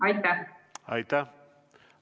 Aitäh!